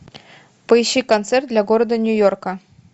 поищи концерт для города нью йорка